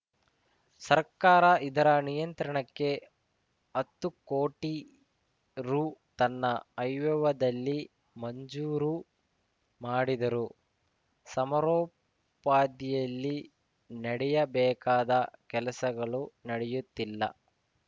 ಸರ್ಕಾರ ಇದರ ನಿಯಂತ್ರಣಕ್ಕೆ ಹತ್ತು ಕೋಟಿ ರು ತನ್ನ ಆಯ್ವ್ಯದಲ್ಲಿ ಮಂಜೂರು ಮಾಡಿದರೂ ಸಮರೋಪಾದಿಯಲ್ಲಿ ನಡೆಯಬೇಕಾದ ಕೆಲಸಗಳು ನಡೆಯುತ್ತಿಲ್ಲ